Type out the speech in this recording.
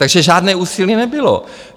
Takže žádné úsilí nebylo.